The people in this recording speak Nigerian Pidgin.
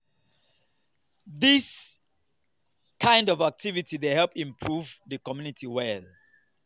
dis kind of activity dey help improve di community well